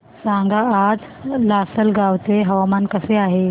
सांगा आज लासलगाव चे हवामान कसे आहे